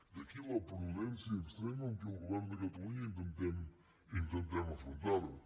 d’aquí la prudència extrema amb què el govern de catalunya intentem afrontar ho